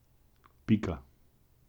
Pika.